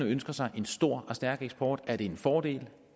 ønsker sig en stor og stærk eksport er det en fordel